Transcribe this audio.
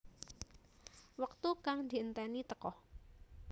Wektu kang dienteni teka